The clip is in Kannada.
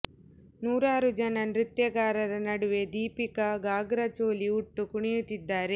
ನೂರಾರು ಜನ ನೃತ್ಯಗಾರರ ನಡುವೆ ದೀಪಿಕಾ ಘಾಗ್ರಾ ಚೋಲಿ ಉಟ್ಟು ಕುಣಿಯುತ್ತಿದ್ದಾರೆ